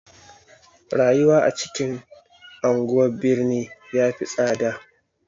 Rayuwa a cikin anguwan birni ya fi tsada.